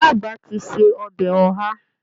Ìyá àgbà ti se ọbẹ̀ Oha